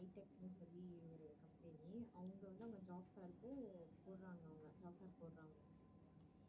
அவங்க வந்து அவங்க job fair க்கு போடுறாங்க அவங்க job fair போடுறாங்க.